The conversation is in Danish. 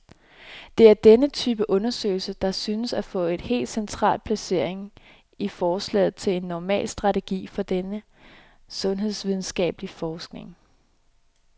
Det er denne type undersøgelser, der synes at få et helt central placering i forslaget til en normal strategi for den sundhedsvidenskabelig forskning.